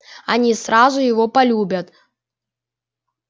они сразу его полюбят